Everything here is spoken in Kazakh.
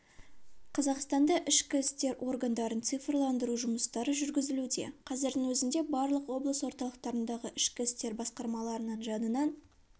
қазақстанда ішкі істер органдарын цифрландыру жұмыстары жүргізілуде қазірдің өзінде барлық облыс орталықтарындағы ішкі істер басқармаларының жанынан